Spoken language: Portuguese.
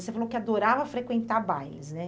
Você falou que adorava frequentar bailes, né?